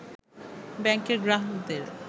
ব্যাংকের গ্রাহকদের